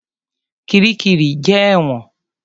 Kiríkirì jẹ́ ẹ̀wọ̀n.